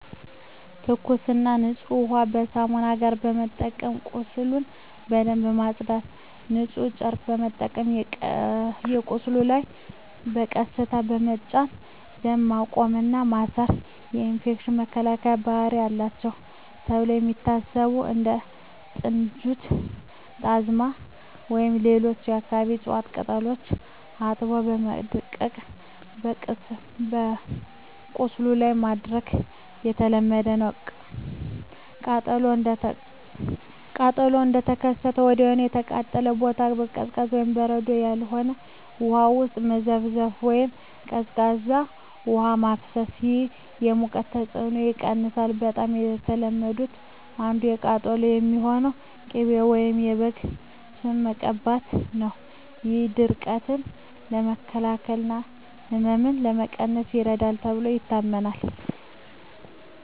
ትኩስና ንጹህ ውሃን ከሳሙና ጋር በመጠቀም ቁስሉን በደንብ ማጽዳት። ንጹህ ጨርቅ በመጠቀም በቁስሉ ላይ በቀስታ በመጫን ደም ማቆም እና ማሰር። የኢንፌክሽን መከላከያ ባህሪ አላቸው ተብለው የሚታሰቡ እንደ ጥንጁት፣ ጣዝማ ወይም ሌሎች የአካባቢው እፅዋት ቅጠሎችን አጥቦ በማድቀቅ በቁስሉ ላይ ማድረግ የተለመደ ነው። ቃጠሎው እንደተከሰተ ወዲያውኑ የተቃጠለውን ቦታ በቀዝቃዛ (በበረዶ ያልሆነ) ውሃ ውስጥ መዘፍዘፍ ወይም ቀዝቃዛ ውሃ ማፍሰስ። ይህ የሙቀቱን ተጽዕኖ ይቀንሳል። በጣም ከተለመዱት አንዱ ለቃጠሎ የሚሆን ቅቤ ወይም የበግ ስብ መቀባት ነው። ይህ ድርቀትን ለመከላከል እና ህመምን ለመቀነስ ይረዳል ተብሎ ይታመናል።